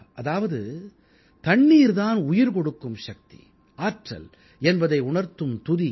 அதாவது தண்ணீர் தான் உயிர்கொடுக்கும் சக்தி ஆற்றல் என்பதை உணர்த்தும் துதி இது